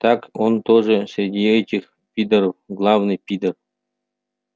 так он тоже среди этих пидоров главный пидор